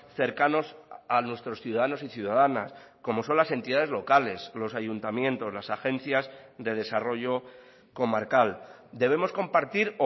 cercanos a nuestros ciudadanos y ciudadanas como son las entidades locales los ayuntamientos las agencias de desarrollo comarcal debemos compartir